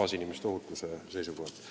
kaasinimeste ohutuse seisukohast.